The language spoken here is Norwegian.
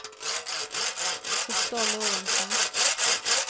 Ottar Lorentzen